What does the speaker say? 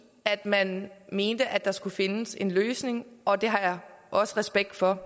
man mente at der skulle findes en løsning og det har jeg også respekt for